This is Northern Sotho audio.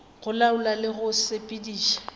go laola le go sepediša